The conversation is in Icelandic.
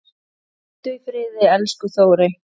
Hvíldu í friði, elsku Þórey.